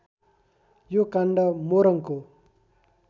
यो काण्ड मोरङको